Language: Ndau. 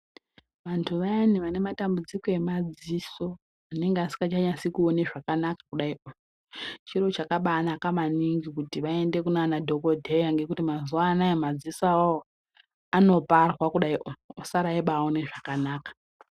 Vantu vayanai vane matambudziko emadziso vanenge vasingachanyasi kuona zvakanaka kudai chiro chakanaka maningi kudai vaenda kunana dhokodheya ngekuti mazuva anawa madziso anoparwa kudai osara achiona zvakanaka.